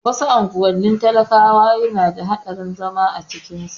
Wasu unguwannin talakawa yana da haɗari zama a cikin su